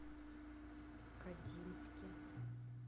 кодинске